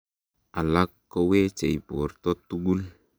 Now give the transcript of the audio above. alak kowechei borto tugul